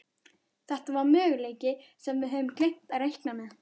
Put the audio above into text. Þetta var möguleiki sem við höfðum gleymt að reikna með.